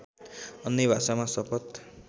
अन्य भाषामा शपथ